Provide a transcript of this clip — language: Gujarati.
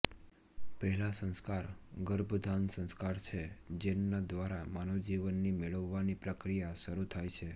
પહેલા સંસ્કાર ગર્ભાધાન સંસ્કાર છે જેનના દ્વારા માનવજીવનની મેળવવાની પ્રક્રિયા શરૂ થાય છે